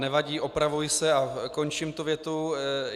Nevadí, opravuji se a končím tu větu.